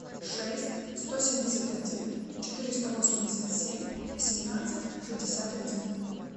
шесть сто семьдесят один четыреста восемьдесят семь восемнадцать шестьдесят один